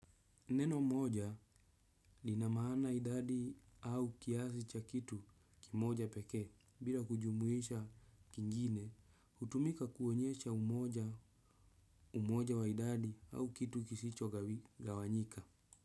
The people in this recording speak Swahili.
Neno moja lina maana idadi au kiasi cha kitu kimoja pekee, bila kujumuisha kingine, hutumika kuonyesha umoja wa idadi au kitu kisichogawanyika.